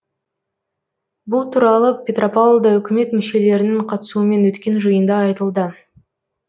бұл туралы петропавлда үкімет мүшелерінің қатысуымен өткен жиында айтылды